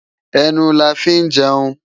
Enú là fi n jèun